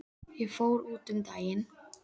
Ég fór út um daginn.